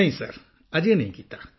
ਨਹੀਂ ਸਰ ਅਜੇ ਨਹੀਂ ਕੀਤਾ